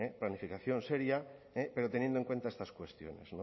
planificación seria pero teniendo en cuenta estas cuestiones